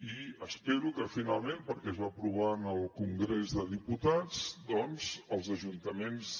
i espero que finalment perquè es va aprovar en el congrés dels diputats doncs els ajuntaments